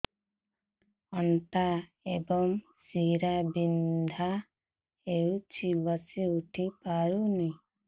ଅଣ୍ଟା ଏବଂ ଶୀରା ବିନ୍ଧା ହେଉଛି ବସି ଉଠି ହଉନି